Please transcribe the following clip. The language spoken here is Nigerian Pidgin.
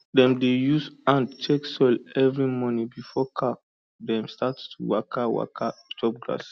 dem dey use hand check soil every morning before cow dem start to waka waka chop grass